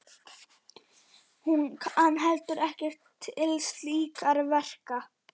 Hún kann heldur ekkert til slíkra verka.